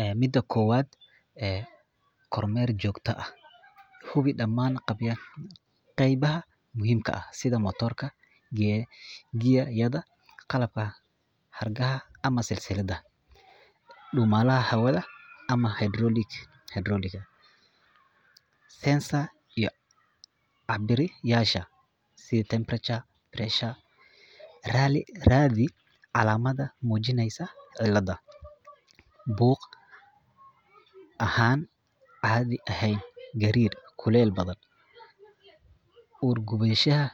Ee mida kowad ee kormel jogta ah, hubii daman qeybaha muxiimka ah sida matorka, gigagyada qalabka hirgaha ama silsilad, dumalaha hawada ama hydrologic ama habiryasha, sidha temperature, pressure radi calamada mujineysa cilada, boog ahan cadhi ehen garir, kulel badan, urgudadhaha